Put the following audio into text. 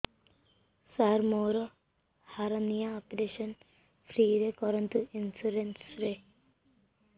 ସାର ମୋର hernia operation free ରେ କରନ୍ତୁ ଇନ୍ସୁରେନ୍ସ ରେ